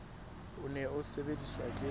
o ne o sebediswa ke